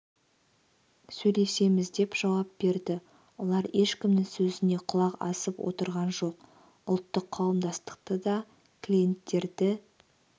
сөйлесеміз деп жауап берді олар ешкімнің сөзіне құлақ асып отырған жоқ ұлттық қауымдастықты да клиенттерді